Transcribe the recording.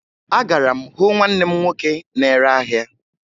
Agara m hụ nwanne m nwoke na-ere ahịa